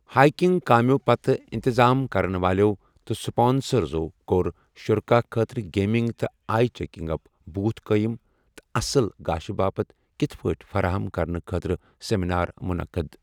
Hiking کامیٮ۪و پتہٕ اِنتظام کرن والٮ۪و تہٕ اسپانسرزو کوٚر شرکاء خٲطرٕ گیمنگ تہٕ آئی چیکنگ اپ بوتھ قٲئم تہٕ اصل گاشہِ باپتھ کِتھٕ پٲٹھۍ فراہم کرنہٕ خٲطرٕ سیٚمینار منعقد۔